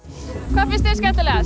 hvað fannst þér skemmtilegast